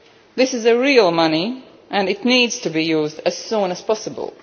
This is real money and it needs to be used as soon as possible.